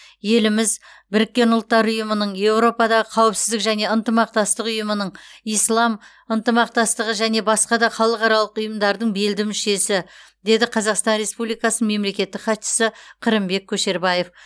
еліміз біріккен ұлттар ұйымының еуропадағы қауіпсіздік және ынтымақтастық ұйымының ислам ынтымақтастығы және басқа да халықаралық ұйымдардың белді мүшесі деді қазақстан республикасы мемлекеттік хатшысы қырымбек көшербаев